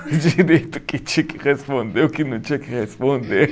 Direito o que tinha que responder, o que não tinha que responder.